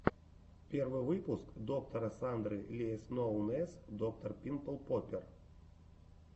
первый выпуск доктора сандры ли эс ноун эс доктор пимпл поппер